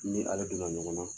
N ni ale don na ɲɔgɔn na.